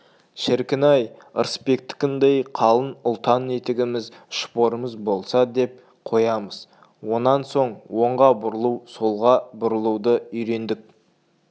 шіркін-ай ырысбектікіндей қалың ұлтан етігіміз шпорымыз болса деп қоямыз онан соң оңға бұрылу солға бұрылуды үйрендік